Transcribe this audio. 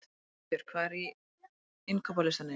Niðbjörg, hvað er á innkaupalistanum mínum?